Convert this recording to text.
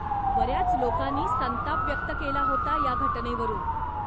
बऱ्याच लोकांनी संताप व्यक्त केला होता या घटनेवरून.